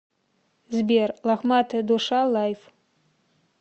сбер лохматая душа лайв